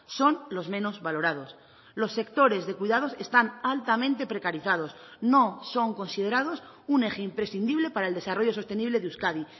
son los menos valorados los sectores de cuidados están altamente precarizados no son considerados un eje imprescindible para el desarrollo sostenible de euskadi